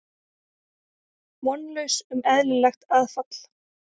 Vonlaus um eðlilegt aðfall.